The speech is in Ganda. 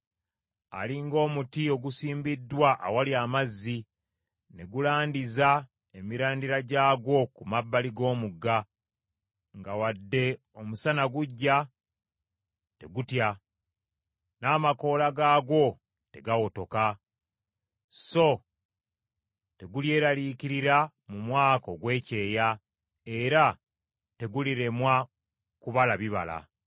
Ali ng’omuti ogusimbiddwa awali amazzi, ne gulandiza emirandira gyagwo ku mabbali g’omugga, nga wadde omusana gujja, tegutya n’amakoola gaagwo tegawotoka, so tegulyeraliikirira mu mwaka ogw’ekyeya era teguliremwa kubala bibala.